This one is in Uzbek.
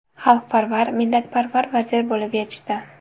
Xalqparvar, millatparvar vazir bo‘lib yetishdi.